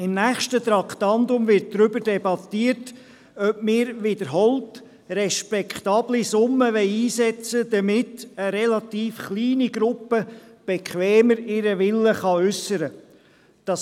Im nächsten Traktandum wird darüber debattiert werden, ob wir wiederholt respektable Summen einsetzen wollen, damit eine relativ kleine Gruppe ihren Willen bequemer äussern kann.